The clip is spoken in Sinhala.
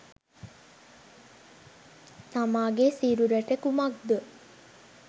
තමාගේ සිරුරට කුමක්දෝ